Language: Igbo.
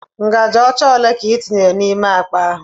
Ngaji ocha ole ka i tinyere n'ime akpa ahụ?